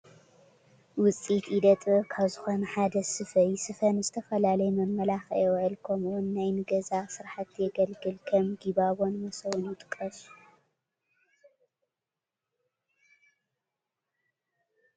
ውፅኢት ኢደ ጥበብ ካብ ዝኾነ ሓደ ስፈ እዩ፡፡ ስፈ ንዝተፈላለዩ መመላኽዒ ይውዕል ከምኡ ውን ንናይ ገዛ ስራሕቲ የገልግል፡፡ ከም ጊባቦን መሶብን ይጥቀሱ፡፡